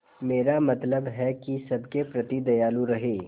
मेरा मतलब है कि सबके प्रति दयालु रहें